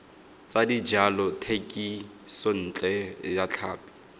tsa dijalo thekisontle ya tlhapi